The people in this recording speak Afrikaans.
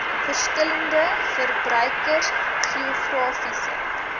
verskillende verbruikers geografiese